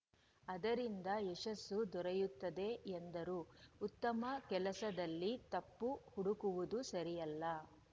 ಅದರಿಂದ ಯಶಸ್ಸು ದೊರೆಯುತ್ತದೆ ಎಂದರು ಉತ್ತಮ ಕೆಲಸದಲ್ಲಿ ತಪ್ಪು ಹುಡುಕುವುದು ಸರಿಯಲ್ಲ